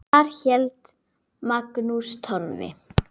Þar hélt Magnús Torfi